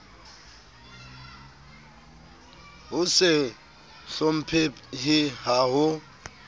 ho se hlomphehe ha ho